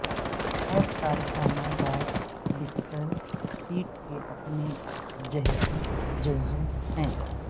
ہر کارخانہ دار بستر سیٹ کے اپنے جہتی جزو ہیں